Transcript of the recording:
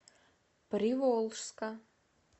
приволжска